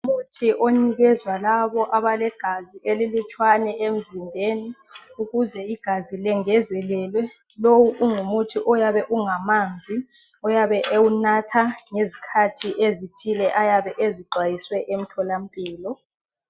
Umuthi onikezwa labo abalegazi elilutshwane emzimbeni, ukuze igazi lengezelelwe. Lowu ungumuthi oyabe ungamanzi, oyabe ewunatha ngezikhathi ezithile ayabe ezixwayiswe emtholampilo.